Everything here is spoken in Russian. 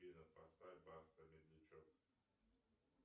афина поставь баста медлячок